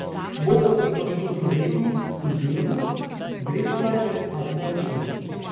Bo pa zato študij redni in delni, brezplačen ali plačljiv.